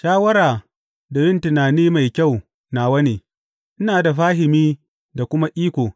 Shawara da yin tunani mai kyau nawa ne; ina da fahimi da kuma iko.